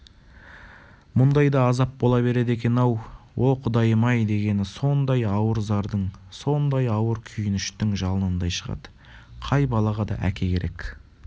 мұндай да азап бола береді екен-ау о құдайым-ай дегені сондай ауыр зардың сондай ауыр күйініштің жалынындай шығады қай балаға да әке керек